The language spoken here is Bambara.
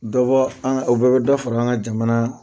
Dɔbɔ an o bɛɛ bɛ da fara an ka jamana